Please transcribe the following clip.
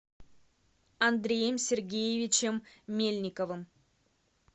андреем сергеевичем мельниковым